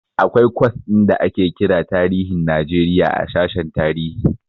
Akwai kwas ɗin da ake kira tarihin Najeriya a sashen tarihi.